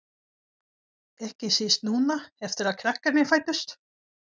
Ekki síst núna eftir að krakkarnir fæddust.